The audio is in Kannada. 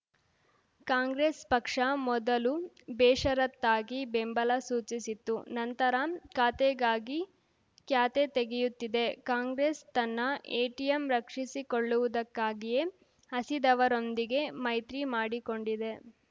ಕಾಂಗ್ರೆಸ್‌ ಪಕ್ಷ ಮೊದಲು ಬೇಷರತ್ತಾಗಿ ಬೆಂಬಲ ಸೂಚಿಸಿತ್ತು ನಂತರ ಖಾತೆಗಾಗಿ ಕ್ಯಾತೆ ತೆಗೆಯುತ್ತಿದೆ ಕಾಂಗ್ರೆಸ್‌ ತನ್ನ ಎಟಿಎಂ ರಕ್ಷಿಸಿಕೊಳ್ಳುವುದಕ್ಕಾಗಿಯೇ ಹಸಿದವರೊಂದಿಗೆ ಮೈತ್ರಿ ಮಾಡಿಕೊಂಡಿದೆ